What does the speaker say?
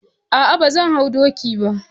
Ah ah, bazan hau doki bah.